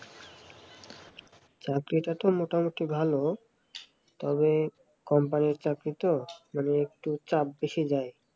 চাকরিটা তো মোটামুটি ভালো তবে কোম্পানির চাকরি তো মানে একটু চাপ বেশি দেয়